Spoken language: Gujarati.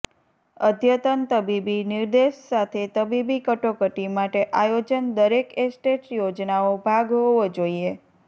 અદ્યતન તબીબી નિર્દેશ સાથે તબીબી કટોકટી માટે આયોજન દરેક એસ્ટેટ યોજનાનો ભાગ હોવો જોઈએ